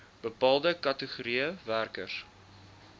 bepaalde kategorieë werkers